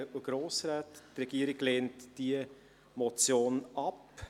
Die Regierung lehnt diese Motion ab.